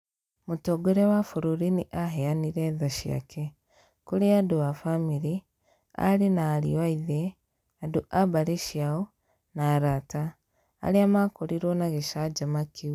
"Mũtongoria wa bũrũri nĩ aheanire tha ciake . Kuri andũ a famĩlĩ, aarĩ na ariũ a Ithe, andũ a mbarĩ ciao, na arata. Arĩa makorirwo nĩ gĩcanjama kĩu.